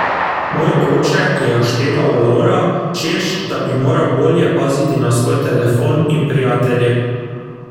Moj oče je ošteval Lovra, češ da bi moral bolje paziti na svoj telefon in prijatelje.